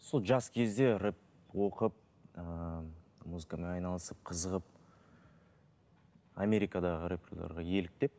сол жас кезде рэп оқып ыыы музыкамен айналысып қызығып америкадағы рэпэрлерге еліктеп